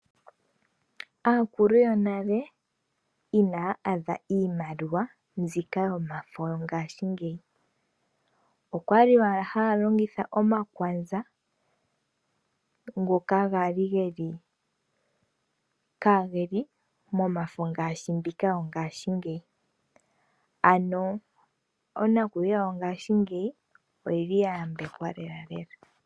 Aakulu yonale ina ya adha iimiwa, mbika yomafo lyongaashingeyi. Okwa li wala ha ya longitha omakwanza, ngoka ga li ge , kaa ge li momafo ngaashi mbika yo ngashingeyi. Ano onakutiwa yongashingeyi oyi li ya yambekwa lelalela.